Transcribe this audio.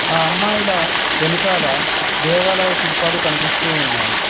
ఆ అమ్మాయిలా వెనకాల దేవాలయ శిల్పాలు కనిపిస్తూ ఉన్నాయి.